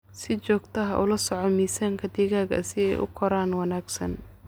Si joogto ah ula soco miisaanka digaagga si ay u koraan wanaagsan.